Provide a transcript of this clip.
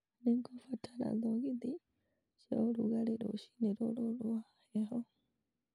Nĩngũbatara thogithi cia ũrugarĩ rũcinĩ rũrũ rũa heho